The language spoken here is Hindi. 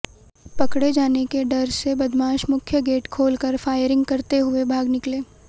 पकड़े जाने के डर से बदमाश मुख्य गेट खोलकर फायरिंग करते हुए भाग निकले